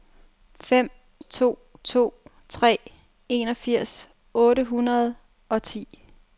fem to to tre enogfirs otte hundrede og ti